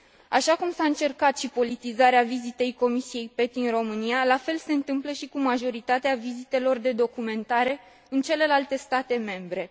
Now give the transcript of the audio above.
Așa cum s a încercat și politizarea vizitei Comisiei PETI în România, la fel se întâmplă și cu majoritatea vizitelor de documentare în celelalte state membre.